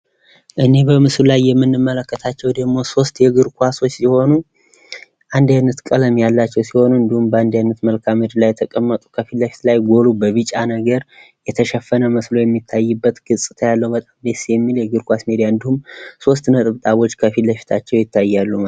እኒህ በምስሉ ላይ የምንመለከታቸው ደሞ ሶስት የእግር ኳሶች ሲሆኑ አንድ አይነት ቀለም ያላቸው ሲሆኑ በአንድ አይነት መልከአ ምድር ላይ የተቀመጡ ከፊት ለፊት ላይ ጎሉ በቢጫ ነገር የተሸፈነ መስሎ የሚታይበት ገፅታ ያለው በጣም ደስ የሚል የእግር ኳስ ሜዳ እንዲሁም ሶስት ነጠብጣቦች ከፊት ለፊታቸው ይታያሉ።